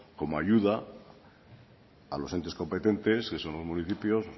como ayuda a los entes competentes que son los municipios